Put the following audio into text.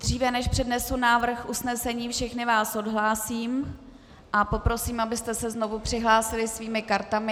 Dříve než přednesu návrh usnesení, všechny vás odhlásím a poprosím, abyste se znovu přihlásili svými kartami.